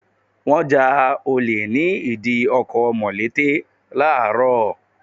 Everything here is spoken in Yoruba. Wọ́n ja olè ní ìdí ọkọ̀ mọ̀lété Láàárọ̀.